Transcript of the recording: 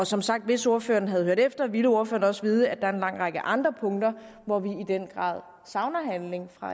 som sagt hvis ordføreren havde hørt efter ville ordføreren også vide at der er en lang række andre punkter hvor vi i den grad savner handling fra